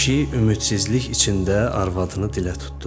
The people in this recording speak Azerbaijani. Kişi ümidsizlik içində arvadını dilə tutdu.